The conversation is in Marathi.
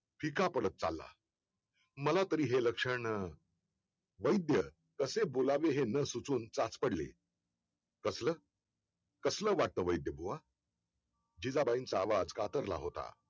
फिका पडत चालला मला तरी हे लक्षण वैद्य कसे बोलावे हे न सुचून साचपडले कसलं कसलं वाटतं वैद्य बुवा जिजाबाईंचा आवाज कातरला होता